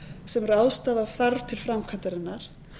sem ráðstafa þarf til framkvæmdarinnar